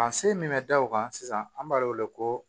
A se min bɛ da o kan sisan an b'a wele ko